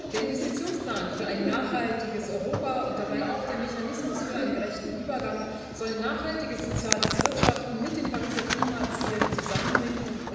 Der Investitionsplan für ein nachhaltiges Europa und dabei auch der Mechanismus für einen gerechten Übergang sollen nachhaltiges soziales Wirtschaften mit den Pariser Klimazielen zusammenbringen.